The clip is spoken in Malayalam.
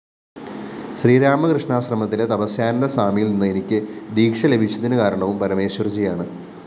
ശ്രീരാമകൃഷ്ണാശ്രമത്തിലെ തപസ്യാനന്ദസ്വാമിയില്‍ നിന്ന് എനിക്ക് ദീക്ഷ ലഭിച്ചതിന് കാരണവും പരമേശ്വര്‍ജിയാണ്